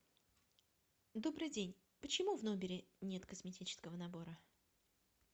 добрый день почему в номере нет косметического набора